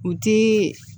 U ti